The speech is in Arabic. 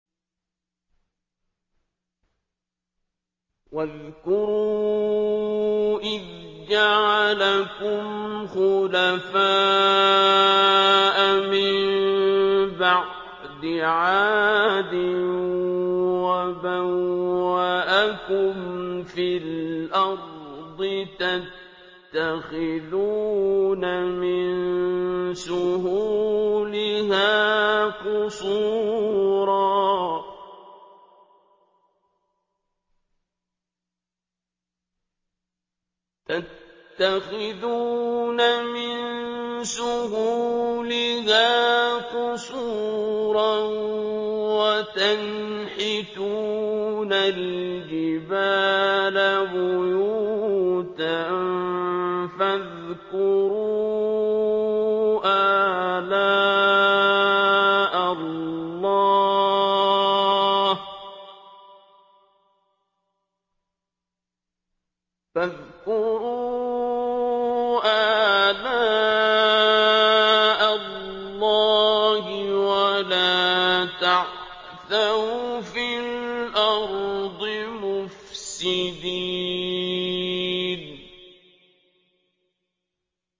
وَاذْكُرُوا إِذْ جَعَلَكُمْ خُلَفَاءَ مِن بَعْدِ عَادٍ وَبَوَّأَكُمْ فِي الْأَرْضِ تَتَّخِذُونَ مِن سُهُولِهَا قُصُورًا وَتَنْحِتُونَ الْجِبَالَ بُيُوتًا ۖ فَاذْكُرُوا آلَاءَ اللَّهِ وَلَا تَعْثَوْا فِي الْأَرْضِ مُفْسِدِينَ